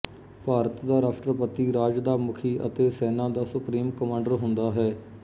ਭਾਰਤ ਦਾ ਰਾਸ਼ਟਰਪਤੀ ਰਾਜ ਦਾ ਮੁੱਖੀ ਅਤੇ ਸੈਨਾ ਦਾ ਸੁਪਰੀਮ ਕਮਾਂਡਰ ਹੁੰਦਾ ਹੈ